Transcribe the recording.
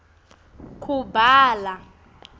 kubhala